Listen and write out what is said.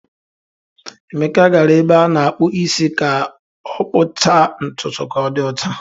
Emeka gara ebe a na-akpụ isi ka ọ kpụchaa ntutu ka Odi ochaa.